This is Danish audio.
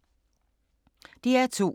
DR2